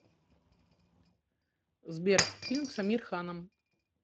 сбер фильм с амир ханом